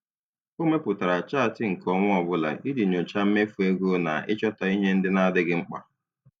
O mepụtara chaatị nke ọnwa ọ bụla iji nyochaa mmefu ego na ịchọta ihe ndị na-adịghị mkpa.